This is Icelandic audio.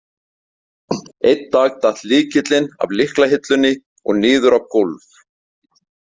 Einn dag datt lykillinn af lyklahillunni og niður á gólf.